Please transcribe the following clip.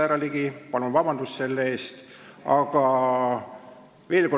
Härra Ligi, palun vabandust selle eest!